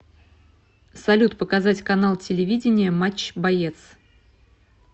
салют показать канал телевидения матч боец